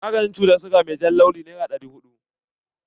Maganin ciwon siga mai jan launi nera ɗari huɗu.